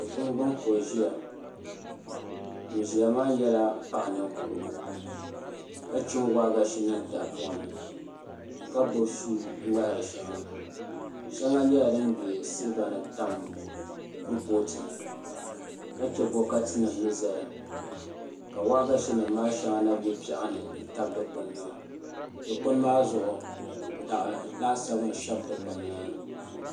Dikpuni gbuni ka o ʒiya ŋun ʒiya maa nyɛla paɣa ninkurigu ka chim waagashe niŋ tahapoŋ ni ka gbubi suu ŋmahari shɛŋa shɛŋa nyɛla din bɛ silba ni tam kuripooti ni ka chɛ bokati nim ni ʒɛya ka waagashe nim maa shɛŋa na bɛ piɛɣu ni n tabi dikpuni maa dikpuni maa zuɣu daɣu lasabu n shɛbi dikpuni maa ni